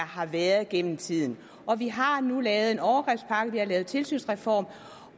har været gennem tiden og vi har nu lavet en overgrebspakke vi har lavet en tilsynsreform